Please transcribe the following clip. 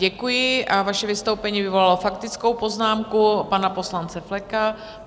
Děkuji a vaše vystoupení vyvolalo faktickou poznámku pana poslance Fleka.